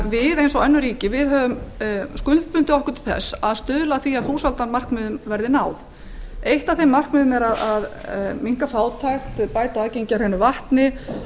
við eins og önnur ríki höfum skuldbundið okkur til að stuðla að því að þúsaldarmarkmiðunum verði náð eitt þeirra er að minnka fátækt bæta aðgengi að hreinu vatni